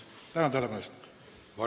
Tänan tähelepanu eest!